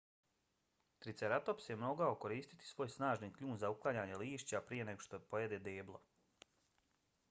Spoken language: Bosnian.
triceratops je mogao koristiti svoj snažni kljun za uklanjanje lišća prije nego što pojede deblo